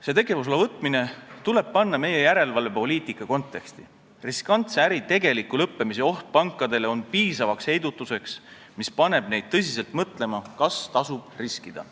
See tegevusloa võtmine tuleb panna meie järelevalvepoliitika konteksti: riskantse äri tegeliku lõppemise oht on pankadele piisavaks heidutuseks, mis paneb neid tõsiselt mõtlema, kas tasub riskida.